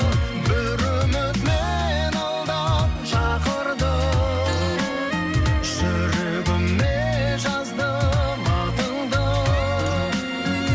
бір үміт мені алдан шақырды жүрегіме жаздым атыңды